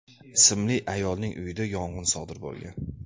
ismli ayolning uyida yong‘in sodir bo‘lgan.